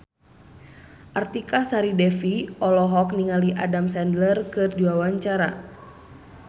Artika Sari Devi olohok ningali Adam Sandler keur diwawancara